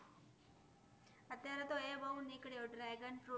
તો એ બો નિકળુયુ dragon fruit